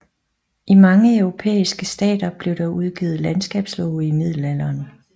I mange europæiske stater blev der udgivet landskabslove i middelalderen